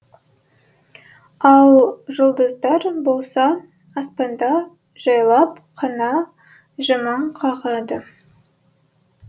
ал жұлдыздар болса аспанда жайлап қана жымың қағады